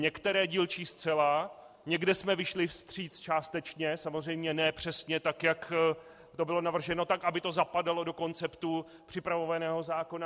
Některé dílčí zcela, někde jsme vyšli vstříc částečně, samozřejmě ne přesně tak, jak to bylo navrženo, tak aby to zapadalo do konceptů připravovaného zákona.